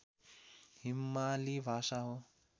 हिमाली भाषा हो